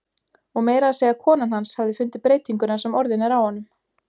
Og meira að segja konan hans hafi fundið breytinguna sem orðin er á honum.